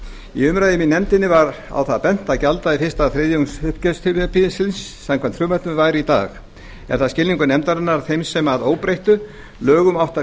í umræðum í nefndinni var á það bent að gjalddagi fyrsta þriðjungs uppgjörstímabilsins samkvæmt frumvarpinu væri í dag er það skilningur nefndarinnar að þeim sem að óbreyttum lögum áttu að